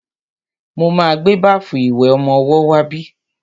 Mo ma gbé báfù ìwẹ̀ ọmọwọ́ wá bí.